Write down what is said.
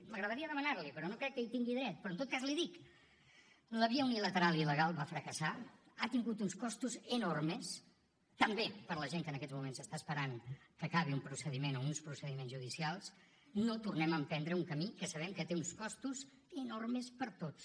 m’agradaria demanar l’hi però no crec que hi tingui dret però en tot cas l’hi dic la via unilateral il·legal va fracassar ha tingut uns costos enormes també per la gent que en aquests moments està esperant que acabi un procediment o uns procediments judicials no tornem a emprendre un camí que sabem que té uns costos enormes per tots